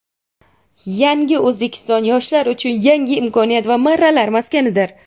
"Yangi O‘zbekiston" - yoshlar uchun yangi imkoniyat va marralar maskanidir.